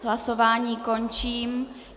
Hlasování končím.